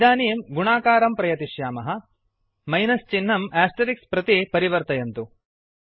इदानीं गुणाकारं प्रयतिष्यामः मैनस् चिह्नं आस्टरिक् प्रति परिवर्तयन्तु